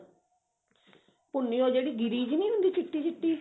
ਭੁੰਨੀ ਜੀ ਉਹ ਗਿਰੀ ਜੀ ਨੀ ਹੁੰਦੀ ਚਿੱਟੀ ਚਿੱਟੀ